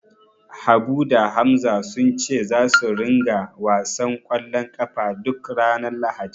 Habu da Hamza sun ce zasu ringa wasan ƙwallon ƙafa duk ranar Lahadi.